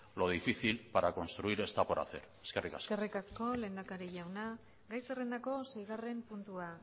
lo difícil para construir está por hacer eskerrik asko eskerrik asko lehendakari jauna gai zerrendako seigarren puntua